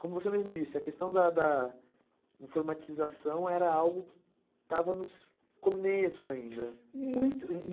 Como você mesmo disse, a questão da informatização era algo que estava no começo ainda.